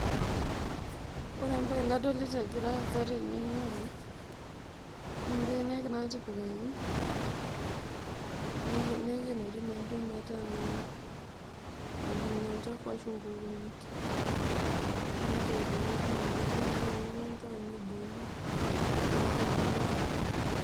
Ore embae nadolita egira aasa tene naa mbenek natipikaki nepiki naaduo metaa mejing olchafu ashu nkukuni, neitoiponi tinewueji metaa inantau nebuku, tenintau niun.